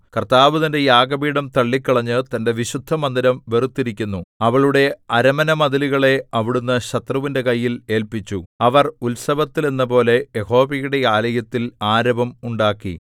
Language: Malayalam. കർത്താവ് തന്റെ യാഗപീഠം തള്ളിക്കളഞ്ഞ് തന്റെ വിശുദ്ധമന്ദിരം വെറുത്തിരിക്കുന്നു അവളുടെ അരമനമതിലുകളെ അവിടുന്ന് ശത്രുവിന്റെ കയ്യിൽ ഏല്പിച്ചു അവർ ഉത്സവത്തിൽ എന്നപോലെ യഹോവയുടെ ആലയത്തിൽ ആരവം ഉണ്ടാക്കി